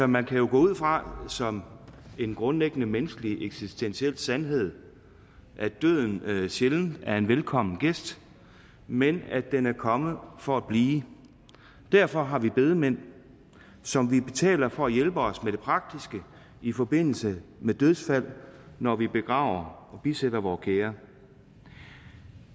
man kan jo gå ud fra som en grundlæggende menneskelig eksistentiel sandhed at døden sjældent er en velkommen gæst men at den er kommet for at blive og derfor har vi bedemænd som vi betaler for at hjælpe os med det praktiske i forbindelse med dødsfald når vi begraver og bisætter vore kære